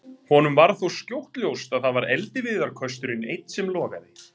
Honum varð þó skjótt ljóst að það var eldiviðarkösturinn einn sem logaði.